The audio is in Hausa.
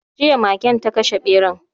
Jiya magen ta kashe beran